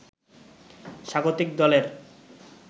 স্বাগতিক দলের